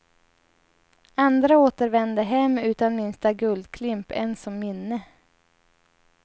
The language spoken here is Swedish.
Andra återvände hem utan minsta guldklimp ens som minne.